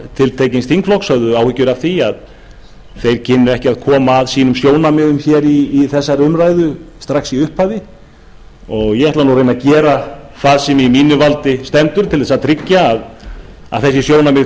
tiltekins þingflokks höfðu áhyggjur af því að þeir kynnu ekki að koma sjónarmiðum sínum að strax í upphafi ég ætla að gera það sem í mínu valdi stendur til að tryggja að þau sjónarmið